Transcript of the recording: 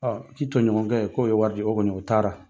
I tɔɲɔgɔnkɛ k'o ye wari di o kɔni, o taara.